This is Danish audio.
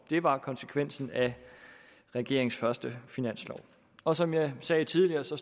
det var konsekvensen af regeringens første finanslov og som jeg sagde tidligere står